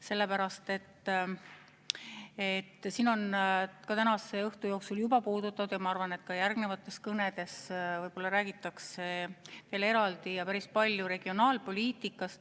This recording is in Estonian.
Siin on tänase õhtu jooksul juba puudutatud ja ma arvan, et ka järgnevates kõnedes räägitakse sellest veel eraldi ja päris palju.